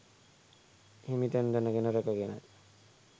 හිමි තැන් දැනගෙන රැක ගෙන